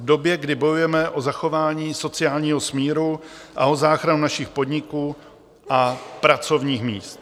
V době, kdy bojujeme o zachování sociálního smíru a o záchranu našich podniků a pracovních míst.